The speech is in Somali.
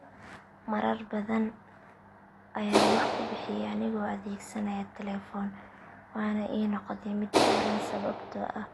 Haa marar badan ayaan wax ku bixiyay anigoo adeegsanaya telefoon waana ii noqotay mid sahlan sababtoo ah